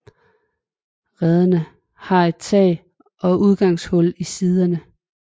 Rederne har et tag og indgangshul i siderne